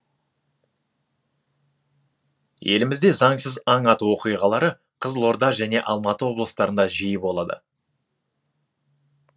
елімізде заңсыз аң ату оқиғалары қызылорда және алматы облыстарында жиі болады